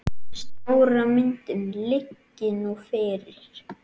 Stóra myndin liggi nú fyrir.